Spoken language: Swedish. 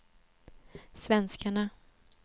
svenskarna